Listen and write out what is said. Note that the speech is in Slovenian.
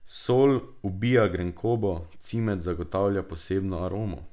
Sol ubija grenkobo, cimet zagotavlja posebno aromo.